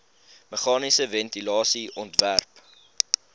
meganiese ventilasie ontwerp